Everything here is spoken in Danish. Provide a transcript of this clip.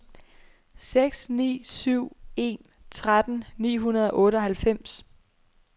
seks ni syv en tretten ni hundrede og otteoghalvfems